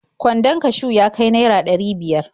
Kwandon kashiw ya ka naira ɗari biyar.